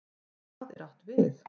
HVAÐ er átt við?